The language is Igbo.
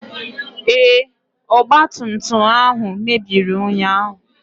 Ee, ọgba tum tum ahụ mebiri ụnyaahụ.